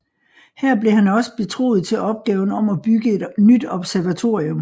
Her blev han også betroet til opgaven om at bygge et nyt observatorium